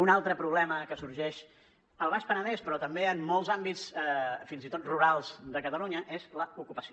un altre problema que sorgeix al baix penedès però també en molts àmbits fins i tot rurals de catalunya és l’ocupació